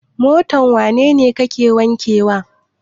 Motar wane ne kake wankewa?